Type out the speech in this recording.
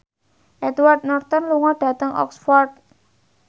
Edward Norton lunga dhateng Oxford